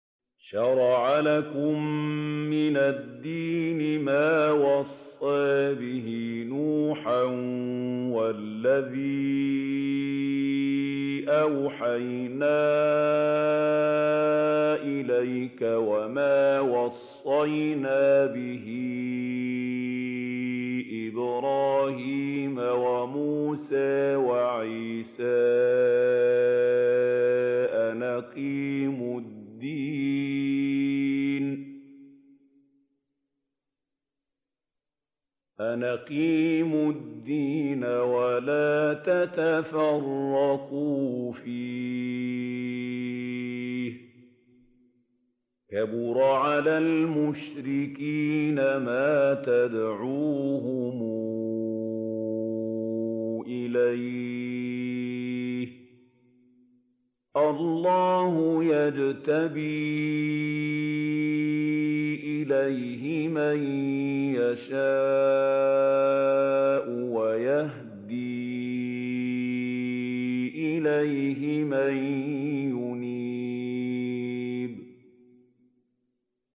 ۞ شَرَعَ لَكُم مِّنَ الدِّينِ مَا وَصَّىٰ بِهِ نُوحًا وَالَّذِي أَوْحَيْنَا إِلَيْكَ وَمَا وَصَّيْنَا بِهِ إِبْرَاهِيمَ وَمُوسَىٰ وَعِيسَىٰ ۖ أَنْ أَقِيمُوا الدِّينَ وَلَا تَتَفَرَّقُوا فِيهِ ۚ كَبُرَ عَلَى الْمُشْرِكِينَ مَا تَدْعُوهُمْ إِلَيْهِ ۚ اللَّهُ يَجْتَبِي إِلَيْهِ مَن يَشَاءُ وَيَهْدِي إِلَيْهِ مَن يُنِيبُ